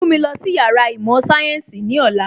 Mú mi lọ sí Yàrá īmò sayensi ní ọ̀la